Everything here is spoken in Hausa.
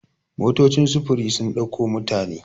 motocin sufuri sun dauko mutane